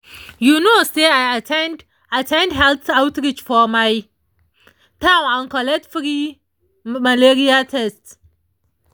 you know se i at ten d at ten d health outreach for my town and collect free malaria test